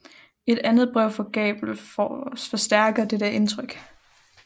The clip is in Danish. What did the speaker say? Et andet brev fra Gabel forstærker dette indtryk